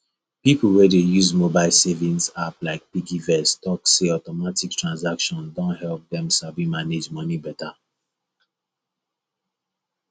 people wey dey use mobile savings app like piggyvest talk say automatic transfer don help dem sabi manage money better